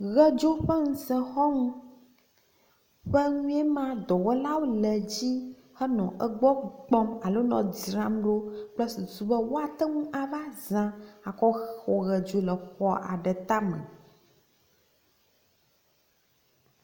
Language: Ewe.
Ʋedzo ƒe ŋusẽxɔnu ƒe nue ma dɔwɔlawo le edzi henɔ egbɔ kpɔm alo nɔ edzzram ɖo kple susu be woate ŋu ava zã atsɔ xɔ ʋedzo le xɔ aɖe tame.